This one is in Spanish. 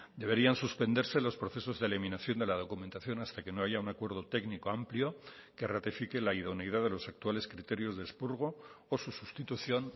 deberían suspenderse los procesos de eliminación de la documentación hasta que no haya un acuerdo técnico amplio que ratifique la idoneidad de los actuales criterios de expurgo o sus sustitución